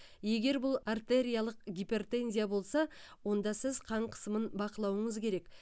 егер бұл артериялық гипертензия болса онда сіз қан қысымын бақылауыңыз керек